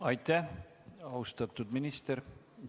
Aitäh, austatud minister!